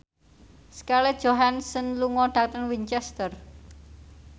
Scarlett Johansson lunga dhateng Winchester